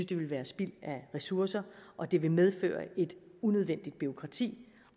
det vil være spild af ressourcer og det vil medføre et unødvendigt bureaukrati